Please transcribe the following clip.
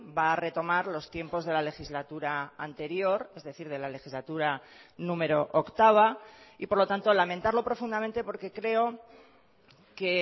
va a retomar los tiempos de la legislatura anterior es decir de la legislatura número octava y por lo tanto lamentarlo profundamente porque creo que